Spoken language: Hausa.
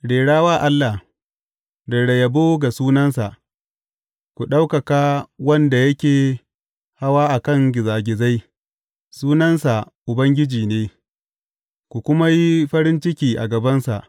Rera wa Allah, rera yabo ga sunansa, ku ɗaukaka wanda yake hawa a kan gizagizai; sunansa Ubangiji ne, ku kuma yi farin ciki a gabansa.